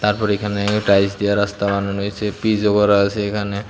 তারপর এখানে টাইলস দিয়া রাস্তা বানানো হইসে পিচও করা আসে এখানে।